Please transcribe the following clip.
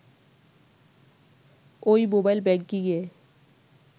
ওই মোবাইল ব্যাংকিংয়ে